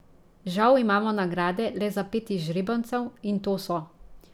Žal imamo nagrade le za pet izžrebancev, in to so ...